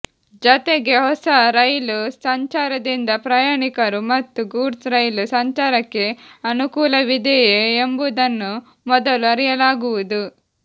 ಜತೆಗೆ ಹೊಸ ರೈಲು ಸಂಚಾರದಿಂದ ಪ್ರಯಾಣಿಕರು ಮತ್ತು ಗೂಡ್ಸ್ ರೈಲು ಸಂಚಾರಕ್ಕೆ ಅನುಕೂಲವಿದೆಯೇ ಎಂಬುದನ್ನು ಮೊದಲು ಅರಿಯಲಾಗುವುದು